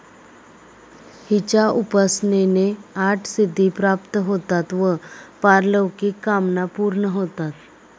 हिच्या उपासनेने आठ सिद्धी प्राप्त होतात व पारलौकिक कामना पूर्ण होतात.